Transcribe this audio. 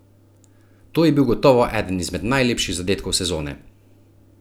To je bil gotovo eden izmed najlepših zadetkov sezone!